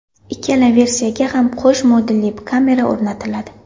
Ikkala versiyaga ham qo‘sh modulli kamera o‘rnatiladi.